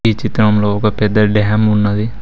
ఈ చిత్రంలో ఒక పెద్ద డ్యాం ఉన్నది.